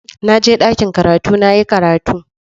Na je dakin karatu na yi karatu.